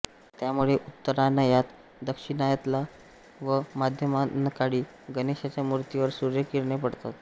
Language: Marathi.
त्यामुळे उत्तरायणात दक्षिणायनात व माध्यान्हकाळी गणेशाच्या मूर्तीवर सूर्यकिरणे पडतात